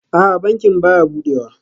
A'a, bankin baya budewa